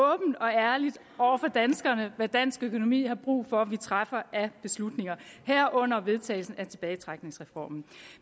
ærligt danskerne hvad dansk økonomi har brug for vi træffer af beslutninger herunder vedtagelsen af tilbagetrækningsreformen